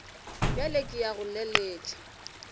bjale ke ya go leletša